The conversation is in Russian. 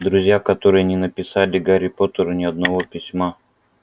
друзья которые не написали гарри поттеру ни одного письма